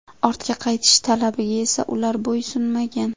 Ortga qaytish talabiga esa ular bo‘ysunmagan.